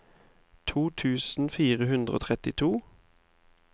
to tusen fire hundre og trettito